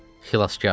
Xilaskar.